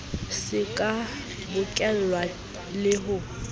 se ka bokellwa le ho